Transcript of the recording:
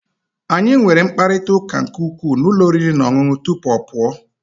anyị nwere mkparịta ụka nke ukwuu na ụlọ oriri na ọṅụṅụ tupu ọ pụọ